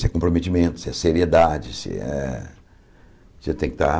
Se é comprometimento, se é seriedade, se é... Você tem que estar...